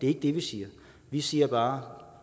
ikke det vi siger vi siger bare